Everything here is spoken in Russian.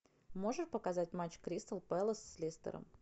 можешь показать матч кристал пэлас с лестером